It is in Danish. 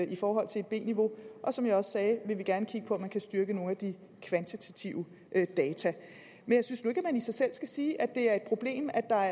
i forhold til et b niveau og som jeg også sagde vil vi gerne kigge på om man kan styrke nogle af de kvantitative data men jeg synes nu ikke at man i sig selv skal sige at det er et problem at der er